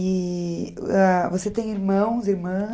E você tem irmãos, irmãs?